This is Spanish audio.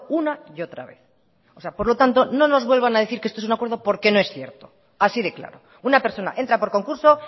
una y otra vez por lo tanto no nos vuelvan a decir que esto es un acuerdo porque no es cierto así de claro una persona entra por concurso